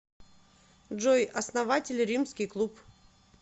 джой основатель римский клуб